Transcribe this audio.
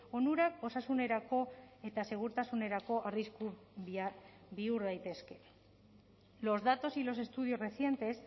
onurak osasunerako eta segurtasunerako arrisku bihur daitezke los datos y los estudios recientes